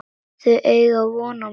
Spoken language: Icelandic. Þau eiga von á mér.